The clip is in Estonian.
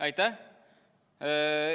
Aitäh!